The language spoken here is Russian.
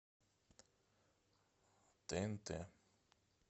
тнт